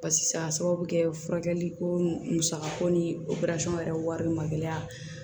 Barisa a sababu bɛ kɛ furakɛliko musakako ni opereli yɛrɛ wari bɛ magɛ